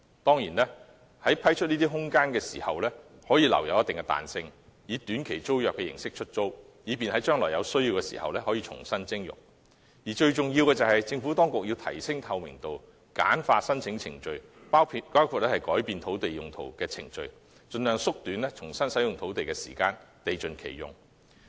當然，在批出空間時可保留一定彈性，以短期租約形式出租，以便將來有需要時可重新徵用；而最重要的是，政府當局要提升透明度，簡化申請程序，包括改變土地用途的程序，盡量縮短重新使用土地的時間，達致地盡其用。